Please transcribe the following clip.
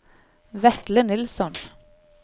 Vetle Nilsson